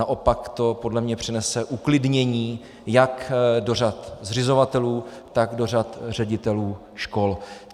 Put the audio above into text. Naopak to podle mě přinese uklidnění jak do řad zřizovatelů, tak do řad ředitelů škol.